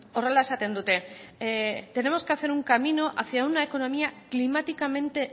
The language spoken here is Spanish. horrela esaten dute tenemos que hacer un camino hacia una economía climáticamente